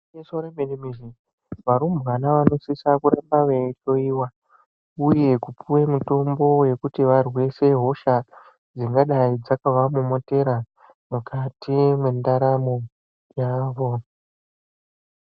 Gwinyiso yemene-mene varumbwana vanosisa kuramba veihloyiwa uye kupuwe mitombo yekuti variwise hosha dzingadai dzakavamomotera mukati mendaramo yavo.